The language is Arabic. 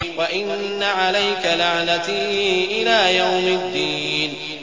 وَإِنَّ عَلَيْكَ لَعْنَتِي إِلَىٰ يَوْمِ الدِّينِ